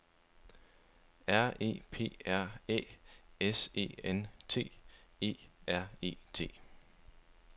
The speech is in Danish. R E P R Æ S E N T E R E T